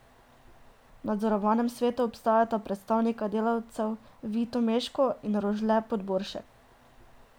V nadzornem svetu ostajata predstavnika delavcev Vito Meško in Rožle Podboršek.